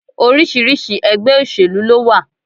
Oríṣiríṣi egbé òsèlú ló wa